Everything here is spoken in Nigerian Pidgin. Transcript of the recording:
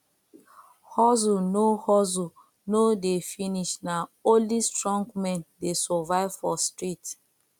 hustle no hustle no de finish na only strong men de survive for street